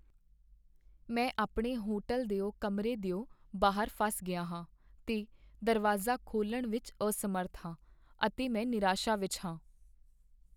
ਮੈਂ ਆਪਣੇ ਹੋਟਲ ਦਿਓ ਕਮਰੇ ਦਿਓ ਬਾਹਰ ਫਸ ਗਿਆ ਹਾਂ ਤੇ ਦਰਵਾਜ਼ਾ ਖੋਲ੍ਹਣ ਵਿੱਚ ਅਸਮਰੱਥ ਹਾਂ ਅਤੇ ਮੈਂ ਨਿਰਾਸ਼ਾ ਵਿੱਚ ਹਾਂ।